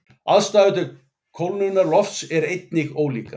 Aðstæður til kólnunar lofts eru einnig ólíkar.